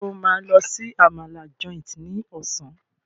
Njé o ma ló sì Àmàlà Joint ní Ọ̀sán?